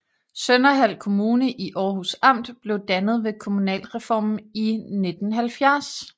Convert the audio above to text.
Sønderhald Kommune i Århus Amt blev dannet ved kommunalreformen i 1970